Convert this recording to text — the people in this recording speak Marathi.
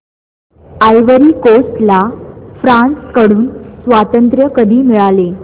आयव्हरी कोस्ट ला फ्रांस कडून स्वातंत्र्य कधी मिळाले